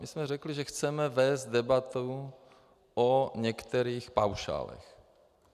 My jsme řekli, že chceme vést debatu o některých paušálech.